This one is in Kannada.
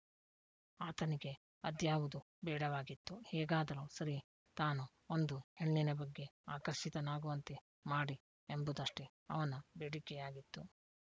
ಆತನಿಗೆ ಅದ್ಯಾವುದೂ ಬೇಡವಾಗಿತ್ತು ಹೇಗಾದರೂ ಸರಿ ತಾನು ಒಂದು ಹೆಣ್ಣಿನ ಬಗ್ಗೆ ಆಕರ್ಷಿತನಾಗುವಂತೆ ಮಾಡಿ ಎಂಬುದಷ್ಟೇ ಅವನ ಬೇಡಿಕೆಯಾಗಿತ್ತು